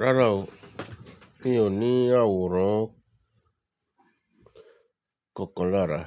Rárá o, mi ò ní àwòrán kokan lára.